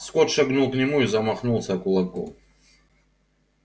скотт шагнул к нему и замахнулся кулаком